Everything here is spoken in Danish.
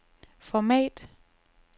format